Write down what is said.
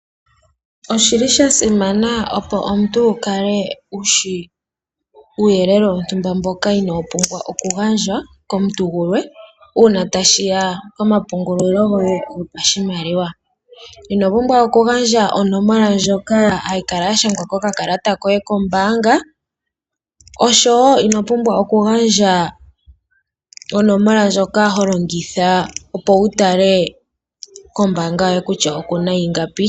Oshili sha simana opo omuntu wu kale wushi uuyelele wontumba mboka inaawu pumbwa okugandjwa komuntu gumwe uuna tashiya komapungulilo goye gopashimaliwa. Ino pumbwa oku gandja onomola ndjoka hayi kala ya shangwa kokakalata kombaanga oshowo ino pumbwa oku gandja onomola ndjoka ho longitha opo wu tale kombaanga yoye kutya oku na ingapi.